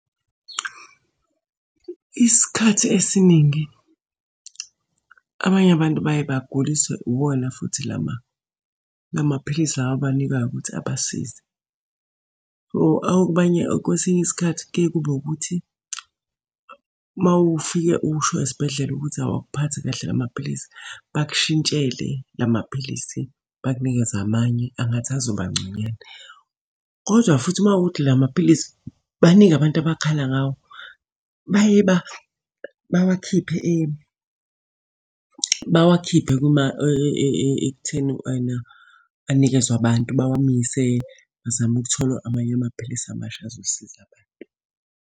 Isikhathi esiningi abanye abantu baye baguliswe iwona futhi lamaphilisi lawa abanikwayo ukuthi abasize. So, abanye, kwesinye isikhathi kuye kube ukuthi uma ufike usho esibhedlela ukuthi awukuphathi kahle la maphilisi, bakushintshele la maphilisi bakunikeze amanye angathi azoba ngconywana. Kodwa futhi uma kuwukuthi la maphilisi baningi abantu abakhala ngawo, baye bawakhiphe kuma ekutheni ena anikezwe abantu. Bawamise bazame ukuthola amanye amaphilisi amasha azosiza abantu.